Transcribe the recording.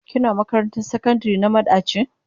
Kina makarantar sakandire na madaci?